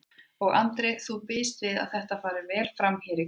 Andri: Og þú býst við að þetta fari vel fram hérna í kvöld?